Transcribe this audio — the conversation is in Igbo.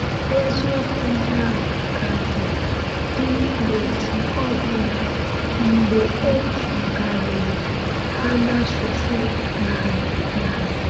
Eziokwu ndị ahụ ka dị dị n’otu ọbụna mgbe e tụgharịrị ha n’asụsụ narị narị.